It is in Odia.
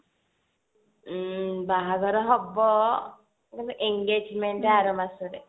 ଏଇ ବାହାଘର ହବ engagement ଆର ମାସରେ